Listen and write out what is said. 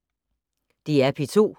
DR P2